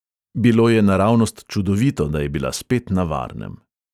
Bilo je naravnost čudovito, da je bila spet na varnem.